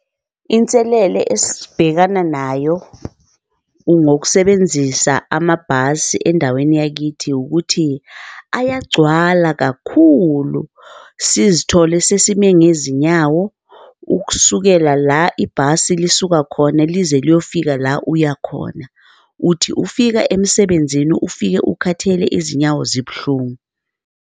Inselele esibhekana nayo ngokusebenzisa amabhasi endaweni yakithi ukuthi ayagcwala kakhulu sizithole sesime ngezinyawo ukusukela la ibhasi lisuka khona lize kuyofika la uyakhona, uthi ufika emsebenzini ufike ukhathele izinyawo zibuhlungu